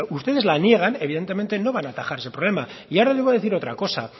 ustedes la niegan evidentemente no van a atajar ese problema y ahora les voy a decir otra cosa